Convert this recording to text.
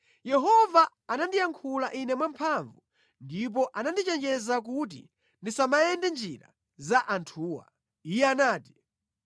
Yehova anandiyankhula ine mwamphamvu, ndipo anandichenjeza kuti ndisamayende mʼnjira za anthuwa. Iye anati: